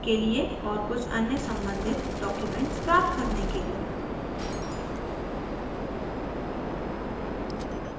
और कुछ अन्य सम्बंधित डॉक्युमेंट्स प्राप्त करने के लिए